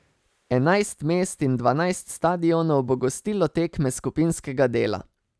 Enajst mest in dvanajst stadionov bo gostilo tekme skupinskega dela.